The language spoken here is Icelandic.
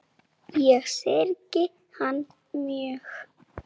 Ég syrgi hann mjög.